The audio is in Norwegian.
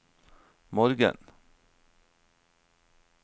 morgen